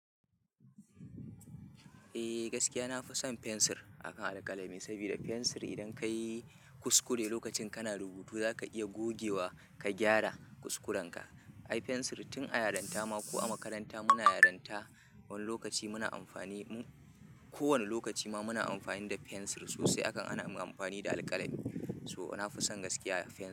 Eh gaskiya nafi son fensir akan alƙalami sabida fensir idan ka yi kuskure lokacin kana rubutu zaka iya gogewa ka gyara kuskurenka. Ai fensir tin a yaranta ma ko a makaranta muna yaranta wani lokaci muna amfani, ko wane lokaci ma muna amfani da fensir sosai akan ana mun amfani da alƙalami. So nafi son gaskiya fensir.